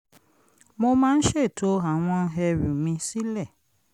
mo máa ń ṣètò àwọn ẹrù mi sílẹ̀